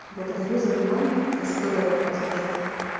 благодарю за внимание если кто-то это прослушает